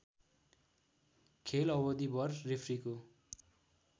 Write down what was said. खेल अवधिभर रेफ्रीको